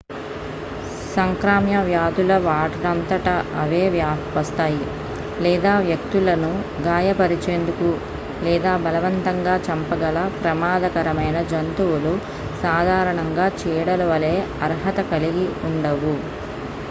సంక్రామ్య వ్యాధులు వాటంతట అవే వస్తాయి లేదా వ్యక్తులను గాయపరిచేందుకు లేదా బలవంతంగా చంపగల ప్రమాదకరమైన జంతువులు సాధారణంగా చీడలు వలే అర్హత కలిగి ఉండవు